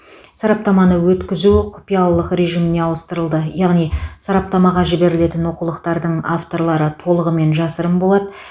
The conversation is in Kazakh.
сараптаманы өткізу құпиялылық режиміне ауыстырылды яғни сараптамаға жіберілетін оқулықтардың авторлары толығымен жасырын болады